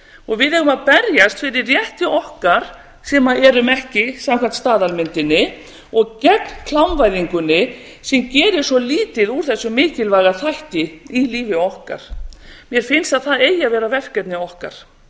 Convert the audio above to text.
og við eigum að berjast fyrir rétti okkar sem erum ekki samkvæmt staðalmyndinni og gegn klámvæðingunni sem gerir svo lítið úr þessum mikilvæga þætti í lífi okkar mér finnst að það eigi að vera verkefni okkar